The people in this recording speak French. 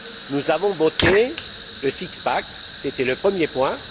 Nous avons voté le six pack c'était le premier point.